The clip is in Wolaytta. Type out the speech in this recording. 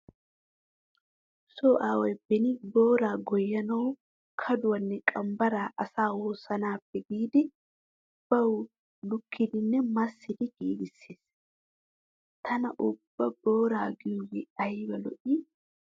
Nu so aaway beni booraa goyyanawu kaduwanne qambbara asa woossanaappe giidi bawu lukkidinne massidi giigissees. Tana ubba booraa goyyiyogee ayba lo'ii?